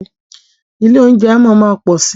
Ilé óúnjẹ máa má pọ̀ si.